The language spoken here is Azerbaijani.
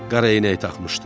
Qara eynək taxmışdı.